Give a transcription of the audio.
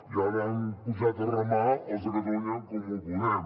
i ara han pujat a remar els de catalunya en comú podem